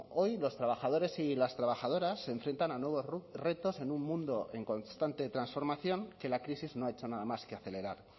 hoy los trabajadores y las trabajadoras se enfrentan a nuevos retos en un mundo en constante transformación que la crisis no ha hecho nada más que acelerar